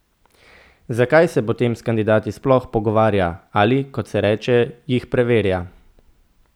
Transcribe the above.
Zakaj se potem s kandidati sploh pogovarja ali, kot se reče, jih preverja?